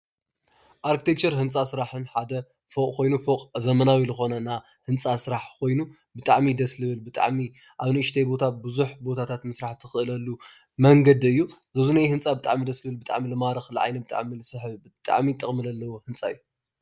አርትሬክቸር ህንፃ ሓደ ስራሕን ፎቅ ዘመናዊ ህንፃ ስራሕ ኮይኑ ብጣዕሚ ደስ ዝብል ብጣዕሚ ኣብ ንኡሽተይ ቦታታት ብዙሕ ቦታታት ምስራሕ እትክእለሉ መንገዲ እዩ። እዚ ኣብዙይ ዝኒሀ ህንፃ ብጣዕሚ ደስ ዝብል ብጣዕሚ ዝማርክ ንዓይኒ ብጣዕሚ ዝስሕብ ብጣዕሚ ጥቅሚ ዘለዎ ህንፃ እዩ።